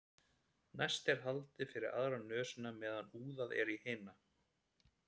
næst er haldið fyrir aðra nösina á meðan úðað er í hina